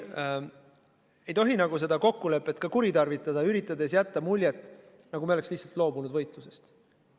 Ei tohi seda kokkulepet ka kuritarvitada, üritades jätta muljet, nagu me oleks lihtsalt loobunud võitlusest.